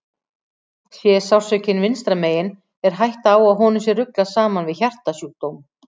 Sé sársaukinn vinstra megin er hætta á að honum sé ruglað saman við hjartasjúkdóm.